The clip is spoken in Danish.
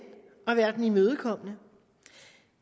at være den imødekommende